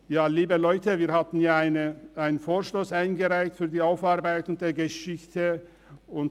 Ja, liebe Leute, wir haben einen Vorstoss für die Aufarbeitung der Geschichte eingereicht.